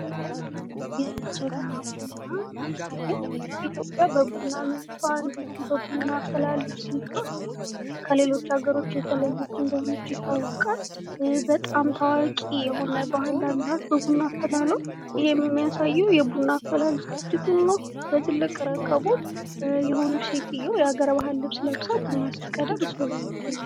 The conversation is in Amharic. የጀበና ቡና ይታያል። ኢትዮጵያ በቡኗ ምርቷ እንዲሁም በቡና አፈላል ስልቷ ከሌሎች አገሮች የተለየች እንደሆነች ይታወቃል። በጣም ታዋቂ የሆነ የቡና አፈላል ባህል አላት።